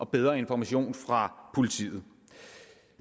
bedre information fra politiet